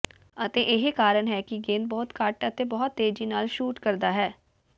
ਅਤੇ ਇਹ ਕਾਰਨ ਹੈ ਕਿ ਗੇਂਦ ਬਹੁਤ ਘੱਟ ਅਤੇ ਬਹੁਤ ਤੇਜ਼ੀ ਨਾਲ ਸ਼ੂਟ ਕਰਦਾ ਹੈ